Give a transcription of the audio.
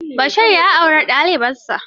Bashir ya auri dalibarsa.